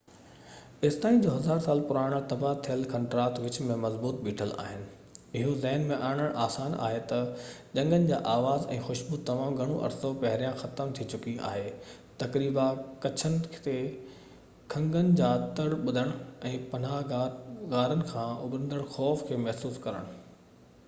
ايستائين جو هزار سال پراڻا تباهه ٿيل کنڊرات وچ ۾ مضبوط بيٺل آهن اهو ذهڻ ۾ آڻڻ آسان آهي ته جنگين جا آواز ۽ خوشبو تمام گهڻو عرصو پهريان ختم ٿي چڪي آهي تقريباً ڪڇن تي کنگن جا تڙ ٻڌڻ ۽ پناهه گاهه غارن کان اڀرندڙ خوف کي محسوس ڪرڻ